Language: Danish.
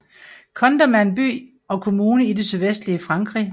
Condom er en by og kommune i det sydvestlige Frankrig